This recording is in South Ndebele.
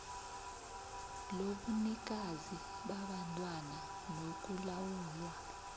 lobunikazi babantwana nokulawulwa